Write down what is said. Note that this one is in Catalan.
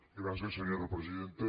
gràcies senyora presidenta